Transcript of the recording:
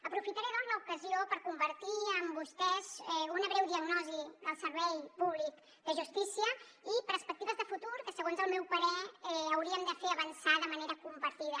aprofitaré l’ocasió per compartir amb vostès una breu diagnosi del servei públic de justícia i perspectives de futur que segons el meu parer hauríem de fer avançar de manera compartida